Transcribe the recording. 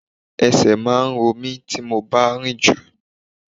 Ẹsẹ̀ máa ń ro mí tí mo bá rinju.